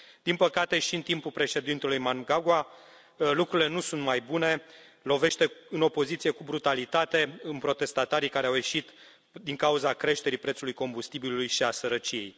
Din păcate, și în timpul președintelui Mnangagwa, lucrurile nu sunt mai bune lovește în opoziție cu brutalitate, în protestatarii care au ieșit din cauza creșterii prețului combustibilului și a sărăciei.